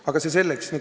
Aga see selleks.